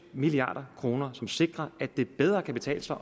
milliard kr som sikrer at det bedre kan betale sig